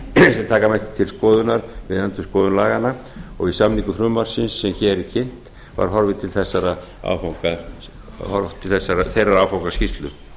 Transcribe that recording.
mætti til skoðunar við endurskoðun laganna við samningu frumvarpsins sem hér er kynnt var horfið til þeirrar áfangaskýrslu